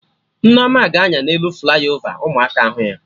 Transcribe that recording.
Nneoma ga-anya na elu flaiovaka ụmụaka hụ ya